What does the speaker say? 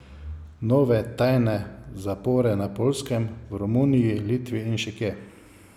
Nove tajne zapore na Poljskem, v Romuniji, Litvi in še kje?